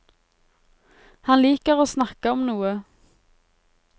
Han liker å snakke om noe.